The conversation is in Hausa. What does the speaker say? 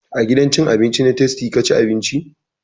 A gidan cin abinci na tastia ka ci abinci?